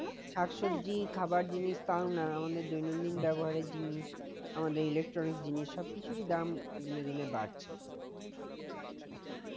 শাক সবজি খাবার জিনিস পাওনা আমাদের দৈনন্দিন ব্যবহারের জিনিস আমাদের electronic জিনিস সব কিছুরই দাম দিনে দিনে বাড়ছে